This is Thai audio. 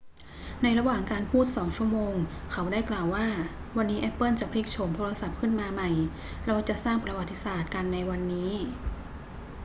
ในระหว่างการพูด 2 ชั่วโมง เขาได้กล่าวว่า วันนี้แอปเปิลจะพลิกโฉมโทรศัพท์ขึ้นมาใหม่ เราจะสร้างประวัติศาสตร์กันในวันนี้